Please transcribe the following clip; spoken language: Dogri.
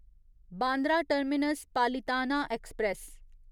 Bandra terminus Palitana express